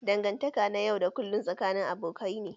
Dangantaka na yau da kullun tsakanin abokai ne.